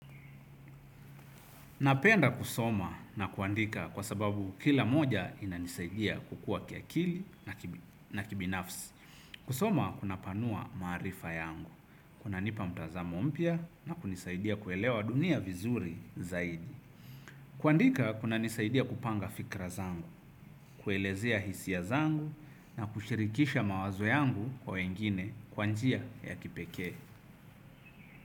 Napenda kusoma na kuandika kwa sababu kila moja inanisaidia kukua kiakili na kibinafsi. Kusoma kunapanua maarifa yangu, kunanipa mtazamo mpya na kunisaidia kuelewa dunia vizuri zaidi. Kuandika kunanisaidia kupanga fikra zangu, kuelezea hisia zangu na kushirikisha mawazo yangu kwa wengine kwa njia ya kipekee.